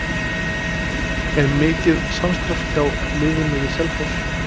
Er mikið samstarf hjá liðinu við Selfoss?